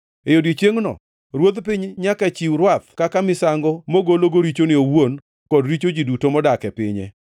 E odiechiengno, ruodh piny nyaka chiw rwath kaka misango mogologo richone owuon kod richo ji duto modak e pinye.